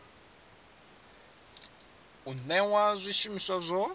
u newa zwi shumiswa zwo